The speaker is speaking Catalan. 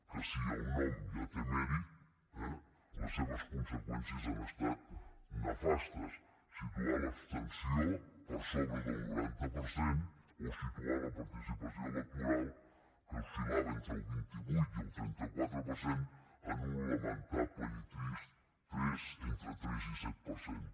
que si el nom ja té mèrit eh les seves conseqüències han estat nefastes situar l’abstenció per sobre del noranta per cent o situar la participació electoral que oscil·lava entre el vint vuit i el trenta quatre per cent en un lamentable i trist tres entre tres i set per cent